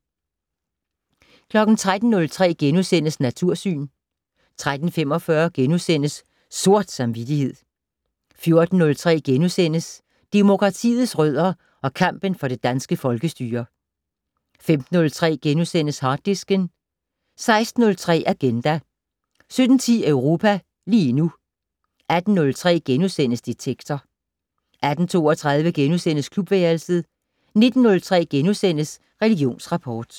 13:03: Natursyn * 13:45: Sort samvittighed * 14:03: Demokratiets rødder og kampen for det danske folkestyre (6:7)* 15:03: Harddisken * 16:03: Agenda 17:10: Europa lige nu 18:03: Detektor * 18:30: Sprogminuttet 18:32: Klubværelset * 19:03: Religionsrapport *